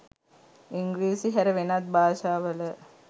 ඉංග්‍රීසි හැර වෙනත් භාෂාවල